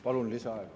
Palun lisaaega.